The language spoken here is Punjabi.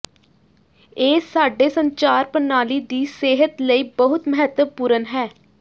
ਇਹ ਸਾਡੇ ਸੰਚਾਰ ਪ੍ਰਣਾਲੀ ਦੀ ਸਿਹਤ ਲਈ ਬਹੁਤ ਮਹੱਤਵਪੂਰਨ ਹੈ